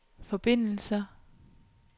forbindelser